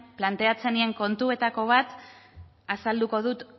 planteatzen nien kontuetako bat azalduko dut